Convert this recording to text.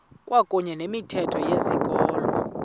kwakuyne nomthetho wezikolo